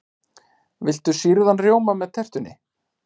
Viltu sýrðan rjóma með tertunni?